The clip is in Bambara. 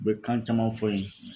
U bɛ kan caman fɔ n ye.